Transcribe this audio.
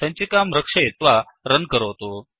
सञ्चिकां रक्षयित्वा रन् करोतु